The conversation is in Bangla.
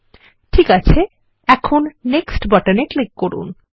ঠিক আছে এখন Nextবাটনে ক্লিক করুন